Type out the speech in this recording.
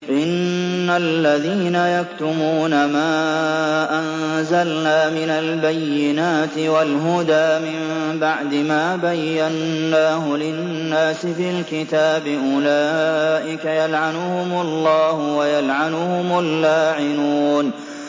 إِنَّ الَّذِينَ يَكْتُمُونَ مَا أَنزَلْنَا مِنَ الْبَيِّنَاتِ وَالْهُدَىٰ مِن بَعْدِ مَا بَيَّنَّاهُ لِلنَّاسِ فِي الْكِتَابِ ۙ أُولَٰئِكَ يَلْعَنُهُمُ اللَّهُ وَيَلْعَنُهُمُ اللَّاعِنُونَ